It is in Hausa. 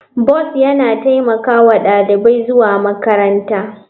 Bus yana taimaka wa ɗalibai zuwa makaranta.